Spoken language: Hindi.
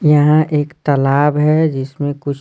यहाँ एक तालाब है जिसमें कुछ--